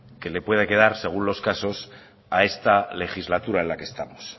que le puede quedar según los casos a esta legislatura en la que estamos